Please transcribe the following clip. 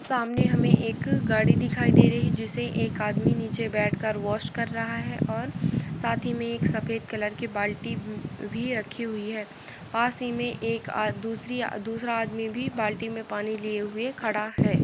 सामने हमें एक गाड़ी दिखाई दे रही है जिसे एक आदमी नीचे बैठकर वॉश कर रहा है और साथ ही में एक सफ़ेद कलर की बाल्टी भी रखी हुई है पास ही में एक दूसरी दूसरा आदमी भी बाल्टी में पानी लिए हुए खड़ा है।